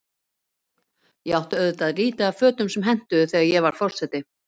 Ég átti auðvitað lítið af fötum sem hentuðu, þegar ég varð forseti.